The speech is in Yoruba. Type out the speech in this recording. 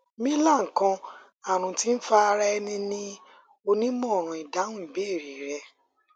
milan kan arun ti nfa ara ẹni ni onimọran idahun ibeere rẹ